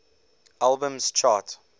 albums chart